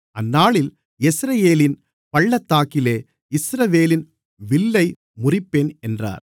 அந்நாளில் யெஸ்ரயேலின் பள்ளத்தாக்கிலே இஸ்ரவேலின் வில்லை முறிப்பேன் என்றார்